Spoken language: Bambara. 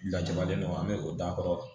Lajabalen don an bɛ o d'a kɔrɔ